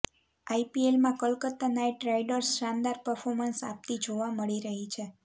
આઇપીએલમાં Kolkata knight riders શાનદાર performance આપતી જોવા મળી રહી છે